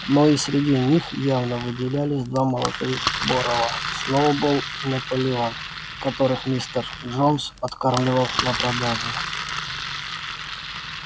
но и среди них явно выделялись два молодых борова сноуболл и наполеон которых мистер джонс откармливал на продажу